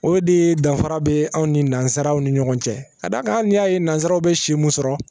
O de danfara be an ni nansaaraw ni ɲɔgɔn cɛ ka d'a kan hali n'i y'a ye nanzaraw be si mun sɔrɔ